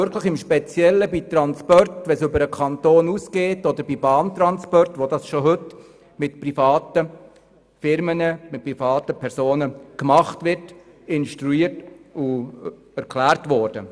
Es kann auch im Speziellen bei Transporten sein, die über die Kantonsgrenzen hinausgehen oder bei Bahntransporten, welche bereits heute durch private Firmen gemacht werden.